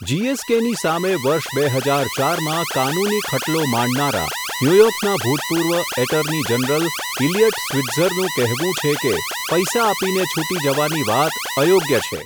જીએસકેની સામે વર્ષ બે હજાર ચાર માં, કાનૂની ખટલો માંડનારા, ન્યૂયોર્કના ભૂતપૂર્વ એટર્ની જનરલ ઇલિયટ સ્વિટ્ઝરનું કહેવું છે કે, પૈસા આપીને છૂટી જવાની વાત અયોગ્ય છે.